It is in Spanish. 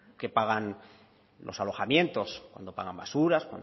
que pagan los alojamientos cuando pagan basura cuando